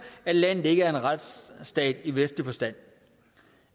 at landet ikke er en retsstat i vestlig forstand